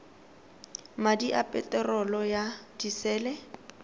madi a peterolo ya disele